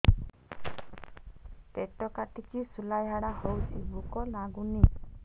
ପେଟ କାଟିକି ଶୂଳା ଝାଡ଼ା ହଉଚି ଭୁକ ଲାଗୁନି